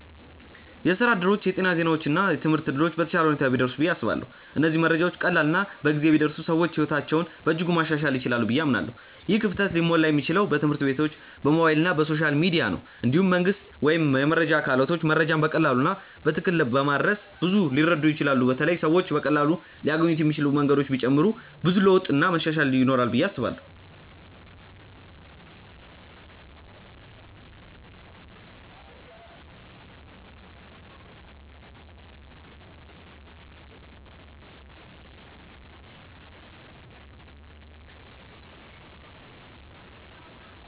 የስራ እድሎች፣ የጤና ዜናዎች እና የትምህርት እድሎች በተሻለ ሁኔታ ቢደርሱ ብዬ አስባለሁ። እነዚህ መረጃዎች ቀላል እና በጊዜ ቢደርሱ ሰዎች ሕይወታቸውን በእጅጉ ማሻሻል ይችላሉ ብዬ አምናለሁ። ይህ ክፍተት ሊሞላ የሚችለው በትምህርት ቤቶች፣ በሞባይል እና በሶሻል ሚዲያ ነው። እንዲሁም መንግስት ወይም የመረጃ አካላቶች መረጃን በቀላሉ እና በትክክል በማድረስ ብዙ ሊረዱ ይችላሉ በተለይ ሰዎች በቀላሉ ሊያገኙት የሚችሉ መንገዶች ቢጨመሩ ብዙ ለውጥ እና መሻሻል ይኖራል ብዬ አስባለው።